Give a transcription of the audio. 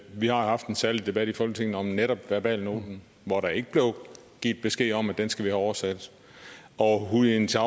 vi har haft en særlig debat i folketinget om netop verbalnoten hvor der ikke blev givet besked om at den skulle oversættes og hu jintao